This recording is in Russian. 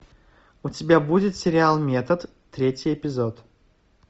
у тебя будет сериал метод третий эпизод